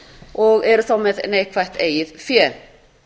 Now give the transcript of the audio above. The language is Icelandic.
og eru þá með neikvætt eigin fé